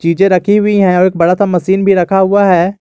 चीजे रखी हुई है और एक बड़ा सा मशीन भी रखा हुआ है।